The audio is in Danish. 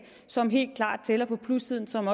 som helt klart tæller på plussiden som